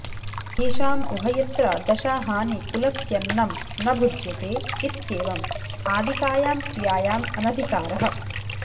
येषाम् उभयत्र दशाहानि कुलस्यन्नं न भुज्यते इत्येवम् आदिकायां क्रियायाम् अनधिकारः